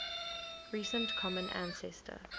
recent common ancestor